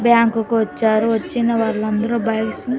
Bank కు వచ్చారు. వచ్చిన వాళ్ళందరూ బాగ్స్ ని--